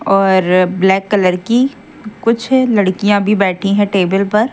और अ black colour की कुछ लड़कियां भी बैठी हैं टेबल पर।